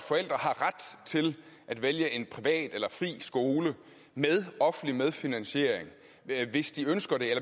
til at vælge en privat eller fri skole med offentlig medfinansiering hvis de ønsker det